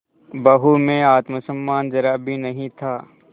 बहू में आत्म सम्मान जरा भी नहीं था